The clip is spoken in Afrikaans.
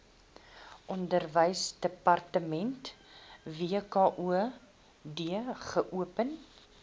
onderwysdepartement wkod geopen